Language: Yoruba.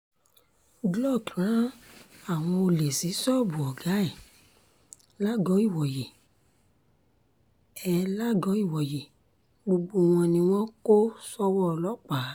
glück rán àwọn olè sí ṣọ́ọ̀bù ọ̀gá ẹ̀ làgọ́-ìwòye ẹ̀ làgọ́-ìwòye gbogbo wọn ni wọn kò ṣòwò ọlọ́pàá